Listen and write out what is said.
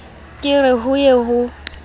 ke re ho ye ho